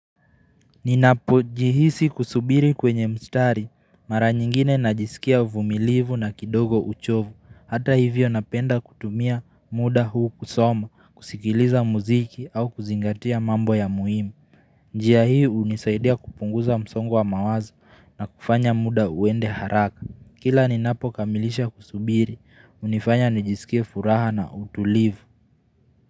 Ninapo jihisi kusubiri kwenye mstari. Mara nyingine najisikia uvumilivu na kidogo uchovu. Hata hivyo napenda kutumia muda huu kusoma, kusikiliza muziki au kuzingatia mambo ya muhimu. Njia hii hunisaidia kupunguza msongo wa mawaza na kufanya muda uende haraka. Kila ninapo kamilisha kusubiri, hunifanya najisikie furaha na utulivu.